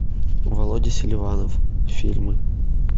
володя селиванов фильмы